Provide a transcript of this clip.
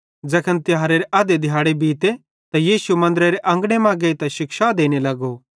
ज़ैखन तिहारेरे अध्धे दिहाड़े बीते त यीशु मन्दरेरे अंगने मां गेइतां शिक्षा देने लगो